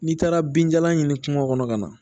N'i taara binjalan ɲini kungo kɔnɔ ka na